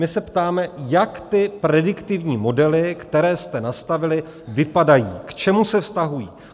My se ptáme, jak ty prediktivní modely, které jste nastavili, vypadají, k čemu se vztahují.